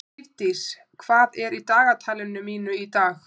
Lífdís, hvað er í dagatalinu mínu í dag?